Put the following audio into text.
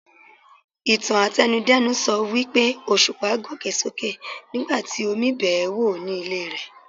Ìtàn àtẹnu-dẹ́nu sọ wípé Òṣùpá gòkè sókè nigbati Omi bẹ́ẹ̀ wò ní ilé rẹ̀.